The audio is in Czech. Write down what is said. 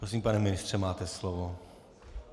Prosím, pane ministře, máte slovo.